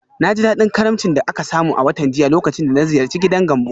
Na ji daɗin karimcin da aka samu a watan jiya lokacin da na ziyarci gidan Gambo.